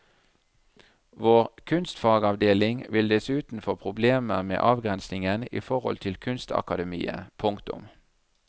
Vår kunstfagavdeling vil dessuten få problemer med avgrensingen i forhold til kunstakademiet. punktum